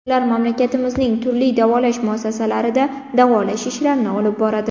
Ular mamlakatimizning turli davolash muassasalarida davolash ishlarini olib boradi.